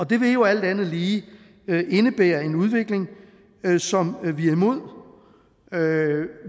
det vil jo alt andet lige indebære en udvikling som vi er imod